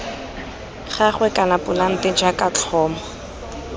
gagwe kana polante jaaka tlhomo